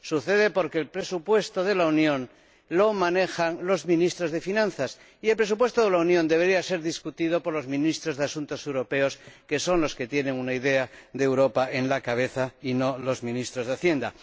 Sucede porque el presupuesto de la Unión lo manejan los ministros de Finanzas, y el presupuesto de la Unión debería ser discutido por los ministros de Asuntos Europeos, que son los que tienen una idea de Europa en la cabeza, y no los ministros de Hacienda.